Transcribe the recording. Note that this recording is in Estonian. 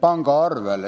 pangaarvele.